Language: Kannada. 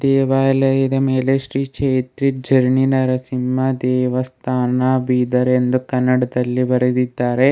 ದೇವಾಲಯದ ಮೇಲೆ ಶ್ರೀ ಕ್ಷೆತ್ರಿ ಝರಣಿ ನರಸಿಂಹ ದೇವಸ್ಥಾನ ಬೀದರ್ ಎಂದು ಕನ್ನಡದಲ್ಲಿ ಬರೆದಿದ್ದಾರೆ.